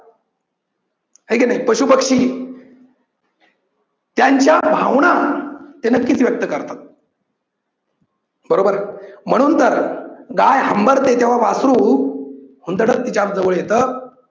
आहे की नाही पशुपक्षी त्यांच्या भावना ते नक्कीच व्यक्त करतात बरोबरय म्हणून तर गाय हंबरते तेव्हा वासरू हुंदडत तिच्याजवळ येतं